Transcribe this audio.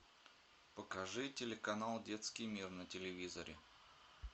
покажи телеканал детский мир на телевизоре